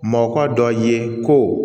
Mɔkɔ dɔ ye ko